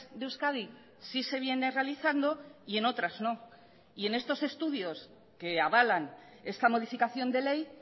de euskadi sí se viene realizando y en otras no y en estos estudios que avalan esta modificación de ley